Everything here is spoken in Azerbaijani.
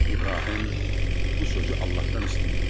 İbrahim bu sözü Allahdan istəyirdi.